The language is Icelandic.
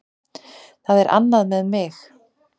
Það er annað með mig.